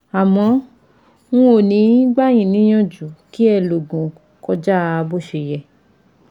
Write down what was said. Àmọ́ n ò ní gbà yí níyànjú kí ẹ lòògùn kọjá bó ṣe yẹ